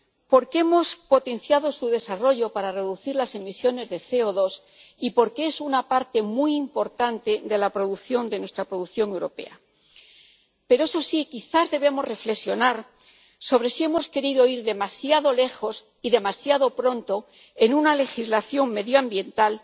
porque hemos potenciado su desarrollo para reducir las emisiones de CO2 y porque son una parte muy importante de nuestra producción europea. Pero, eso sí, quizás debemos reflexionar sobre si hemos querido ir demasiado lejos y adoptar demasiado pronto una legislación medioambiental